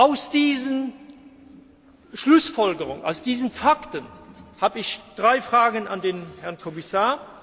Als Schlussfolgerung aus diesen Fakten habe ich drei Fragen an den Herrn Kommissar.